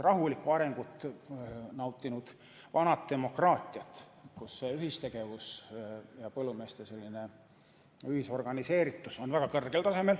Rahulikku arengut nautinud vanades demokraatiates on ühistegevus ja põllumeeste organiseeritus väga kõrgel tasemel.